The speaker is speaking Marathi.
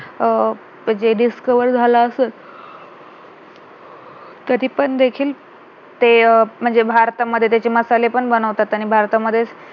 अं जे discover झाला असेल तरी पण देखील ते अं म्हणजे भारतामध्ये त्याचे मसाले पण बनवतात आणि भारतामध्येच